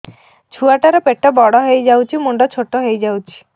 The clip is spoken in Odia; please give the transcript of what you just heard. ଛୁଆ ଟା ର ପେଟ ବଡ ହେଇଯାଉଛି ମୁଣ୍ଡ ଛୋଟ ହେଇଯାଉଛି